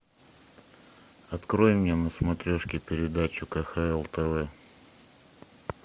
открой мне на смотрешке передачу кхл тв